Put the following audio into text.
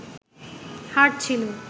হার ছিলো